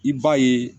I b'a ye